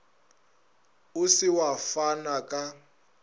o se wa fana ka